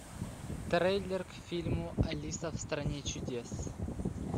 трейлер к фильму алиса в стране чудес